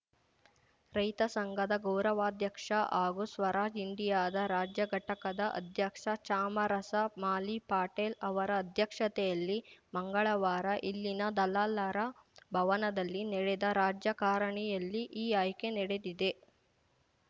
ರೈತ ಸಂಘದ ಗೌರವಾಧ್ಯಕ್ಷ ಹಾಗೂ ಸ್ವರಾಜ್‌ ಇಂಡಿಯಾದ ರಾಜ್ಯ ಘಟಕದ ಅಧ್ಯಕ್ಷ ಚಾಮರಸ ಮಾಲಿಪಾಟೀಲ್‌ ಅವರ ಅಧ್ಯಕ್ಷತೆಯಲ್ಲಿ ಮಂಗಳವಾರ ಇಲ್ಲಿನ ದಲಾಲರ ಭವನದಲ್ಲಿ ನಡೆದ ರಾಜ್ಯ ಕಾರಿಣಿಯಲ್ಲಿ ಈ ಆಯ್ಕೆ ನಡೆದಿದೆ